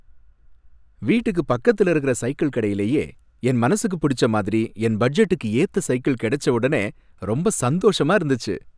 வீட்டுக்கு பக்கத்துல இருக்குற சைக்கிள் கடையிலேயே, என் மனசுக்கு புடிச்ச மாதிரி, என் பட்ஜெட்டுக்கு ஏத்த சைக்கிள் கிடைச்ச உடனே ரொம்ப சந்தோஷமா இருந்துச்சு.